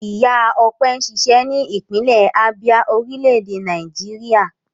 Ìyá Ọpẹ́ ń ṣiṣẹ́ ní ìpínlẹ̀ Abia, orílẹ̀-èdè Nàìjíríà.